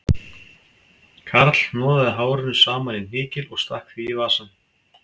Karl hnoðaði hárinu saman í hnykil og stakk því í vasann